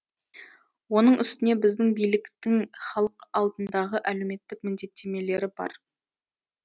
оның үстіне біздің биліктің халық алдындағы әлеуметтік міндеттемелері бар